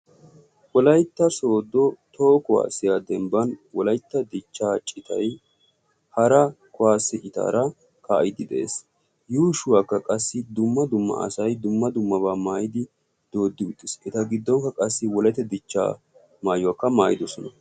Wolaytta sooddo toho kuwaasiya dembban wolaytta dichchaa citay hara kuwaasiya citaara kaa'iiddi de'es. Yuushuwakka qassi dumma dumma asay dumma dummabaa maayidi dooddi uttis. Eta giddonkka qassi wolaytta dichchaa maayuwakka maayidosona.